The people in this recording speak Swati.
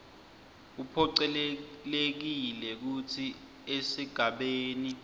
uphocelelekile kutsi esigabeni